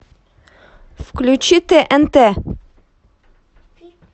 включи тнт